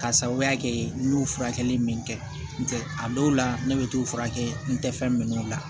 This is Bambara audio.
K'a sababuya kɛ n y'o furakɛli min kɛ n tɛ a dɔw la ne bɛ t'o furakɛ n tɛ fɛn minɛ o la